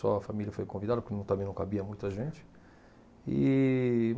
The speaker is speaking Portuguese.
Só a família foi convidada, porque não também não cabia muita gente. E